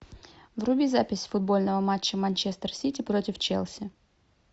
вруби запись футбольного матча манчестер сити против челси